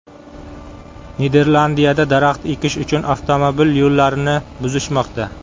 Niderlandiyada daraxt ekish uchun avtomobil yo‘llarini buzishmoqda.